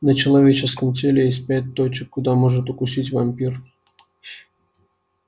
на человеческом теле есть пять точек куда может укусить вампир